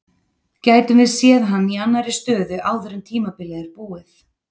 Gætum við séð hann í annarri stöðu áður en tímabilið er búið?